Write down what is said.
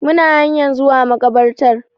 Muna hanyan zuwa makabartar